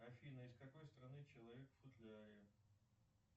афина из какой страны человек в футляре